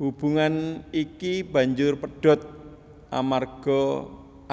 Hubungan iki banjur pedhot amarga